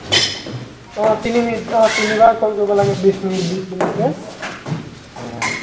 অ তিনি মিনিট অ তিনিবাৰ call কৰিব লাগে বিছ মিনিট বিছ মিনিট কে, উম